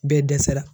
Bɛɛ dɛsɛra